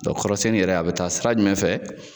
kɔrɔsenni yɛrɛ a bɛ taa sira jumɛn fɛ?